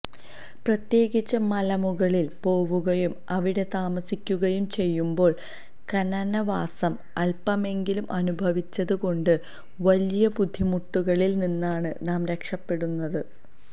പ്രത്യേകിച്ച് മലമുകളിൽ പോവുകയും അവിടെ താമസിക്കുകയും ചെയ്യുമ്പോൾ കാനനവാസം അൽപമെങ്കിലും അനുഭവിച്ചത് കൊണ്ട് വലിയ ബുദ്ധിമുട്ടുകളിൽ നിന്നാണ് നാം രക്ഷപ്പെടുന്നത്